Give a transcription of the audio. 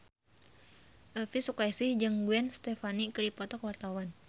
Elvi Sukaesih jeung Gwen Stefani keur dipoto ku wartawan